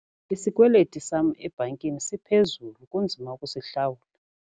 Isikweliti sam ebhankini siphezulu kunzima ukusihlawula.